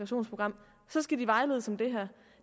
som skal vejledes om det her